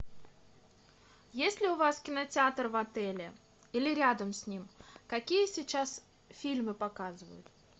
есть ли у вас кинотеатр в отеле или рядом с ним какие сейчас фильмы показывают